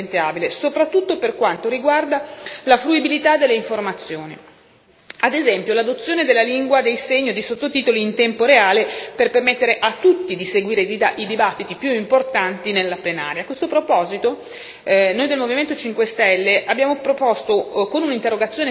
Io credo veramente che le istituzioni dovrebbero essere più sensibili nei confronti della popolazione diversamente abile, soprattutto per quanto riguarda la fruibilità delle informazioni, ad esempio l'adozione della lingua dei segni o di sottotitoli in tempo reale per permettere a tutti di seguire i dibattiti più importanti nella plenaria.